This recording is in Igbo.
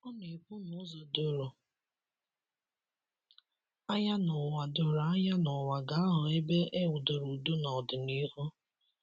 Ọna - ekwu n'ụzo doro anya n'ụwa doro anya n'ụwa ga - aghọ ebe ewudoro ụdo n’ọdịnihu